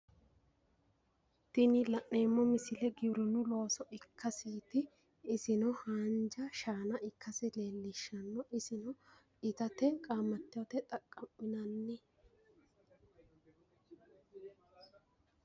Tini la'neemmo misile giwirinnu looso ikkasiiti. Isino haanja shaana ikkasi leellishshanno. Isino itate qaamattote xaqqa'minanni.